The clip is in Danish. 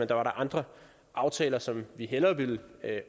der var andre aftaler som vi hellere ville